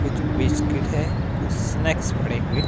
कुछ बिस्किट है कुछ स्नैक्स पड़े हुए--